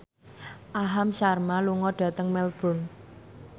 Aham Sharma lunga dhateng Melbourne